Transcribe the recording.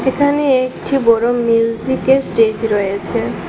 এখানে একঠি বড়ো মিউজিকের স্টেজ রয়েছে।